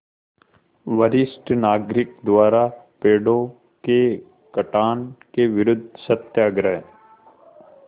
वरिष्ठ नागरिक द्वारा पेड़ों के कटान के विरूद्ध सत्याग्रह